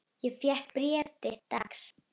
Ég fékk bréf þitt dags.